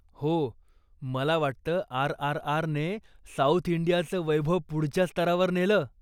हो, मला वाटतं आर.आर.आर.ने साउथ इंडियाच वैभव पुढच्या स्तरावर नेलं.